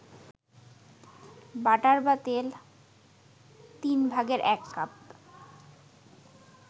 butter বা তেল ১/৩ কাপ